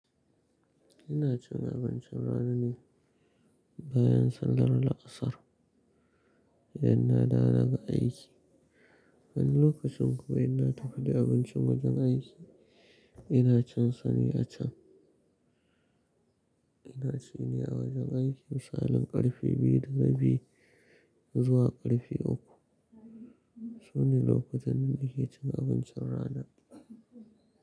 Ina cin abincin rana ne bayan sallar la'asar idan na dawo daga aiki. Wani lokacin kuma in na tafi da abincin wajen aiki, ina cin sane a can. Ina cin ni a wajen aiki misalin karfe biyu da rabi. Zuwa karfe uku. Shine lokacin ne da nake cin abincin rana.